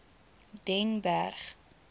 den berg